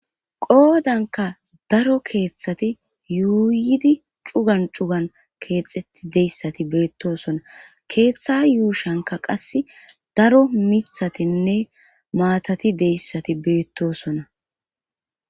qoodanka daro keeththati yuuyidi cugan cugan keexeti deyssati beettosona keeththa yuushanka qasse daro mithatinne maatati deyssati beettosona